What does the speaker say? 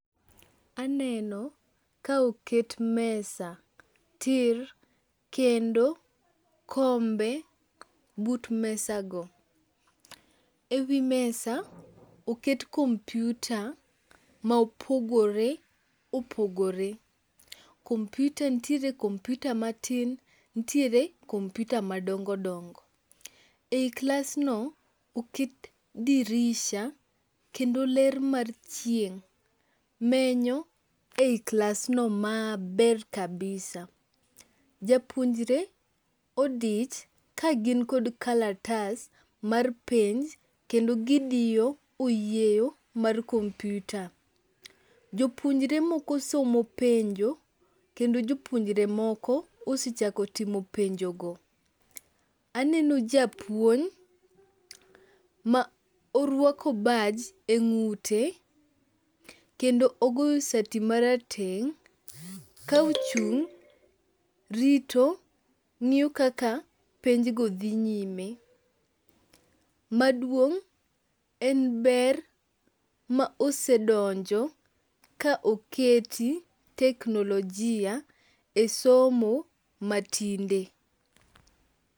Aneno ka oket mesa tir kendo kombe but mesago. E wi mesa oket kompiuta ma opogore opogore. Kompiuta ntiere kompiuta matin ntiere kompiuta madongodongo. E i klasno oket dirisha kendo ler mar chieng' menyo e i klasno maber kabisa. Japuonjre odich kagin kod kalatas mar penj kendo gidiyo oyieyo mar kompiuta. Jopuonjre moko somo penjo kendo jopuonjre moko osechako timo penjogo. Aneno japuonj ma orwako baj e ng'ute kendo ogoyo sati marateng' ka ochung' rito ng'iyo kaka penjgo dhi nyime. Maduong' en ber ma osedonjo ka oketi teknolojia e somo matinde.